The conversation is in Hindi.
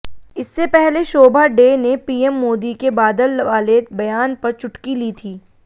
इससे पहले शोभा डे ने पीएम मोदी के बादल वाले बयान पर चुटकी ली थी